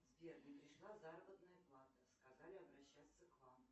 сбер не пришла заработная плата сказали обращаться к вам